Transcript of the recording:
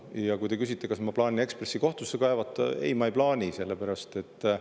Ja kui te küsite, kas ma plaanin Eesti Ekspressi kohtusse kaevata, ei, ma ei plaani.